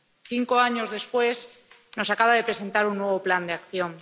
Cinco años después nos acaba de presentar un nuevo plan de acción.